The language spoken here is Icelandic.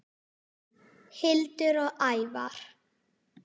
Hildur og Ævar.